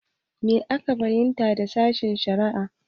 Me ka fahimta da sashen-shari'a?